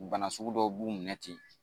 Bana sugu dɔw b'u minɛ ten